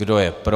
Kdo je pro?